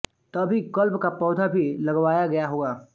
तभी कल्प का पौधा भी लगवाया गया होगा